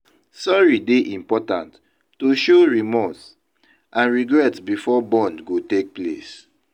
Sorry dey important to show remorse and regret before bond go take place.